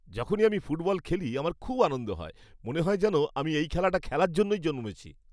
যখনই আমি ফুটবল খেলি, আমার খুব আনন্দ হয়। মনে হয় যেন আমি এই খেলাটা খেলার জন্যই জন্মেছি।